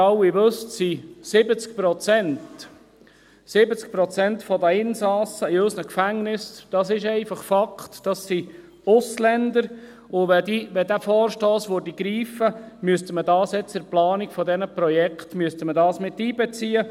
Wie Sie alle wissen, sind 70 Prozent der Insassen in unseren Gefängnissen Ausländer – dies ist einfach Fakt –, und wenn dieser Vorstoss greifen würde, müsste man dies nun bei der Planung dieser Projekte miteinbeziehen.